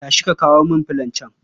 Tashi ka kawo min filon can